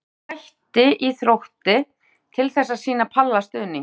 Ég ákvað að hætti í Þrótti til þess að sýna Palla stuðning.